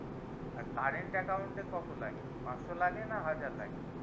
আর current account এ কত লাগে পাঁচশো লাগে না হাজার লাগে